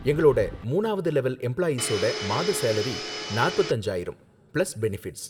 எங்களோட மூணாவது லெவல் எம்ப்ளாயீஸோட மாத சேலரி நாற்பத்து அஞ்சாயிரம் பிளஸ் பெனஃபிட்ஸ்